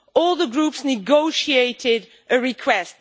All the groups negotiated a request.